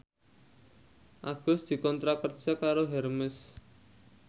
Agus dikontrak kerja karo Hermes